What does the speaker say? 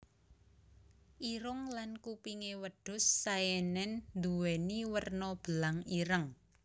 Irung lan kupingé wedhus Saenen nduwéni werna belang ireng